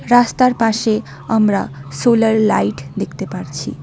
রাস্তার পাশে আমরা সোলার লাইট দেখতে পারছি।